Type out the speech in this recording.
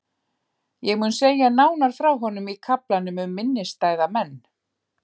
Ég mun segja nánar frá honum í kaflanum um minnisstæða menn.